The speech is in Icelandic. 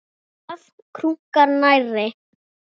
Hrafn krunkar nærri.